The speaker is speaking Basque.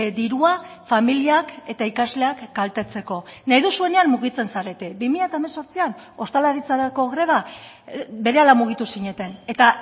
dirua familiak eta ikasleak kaltetzeko nahi duzuenean mugitzen zarete bi mila hemezortzian ostalaritzarako greba berehala mugitu zineten eta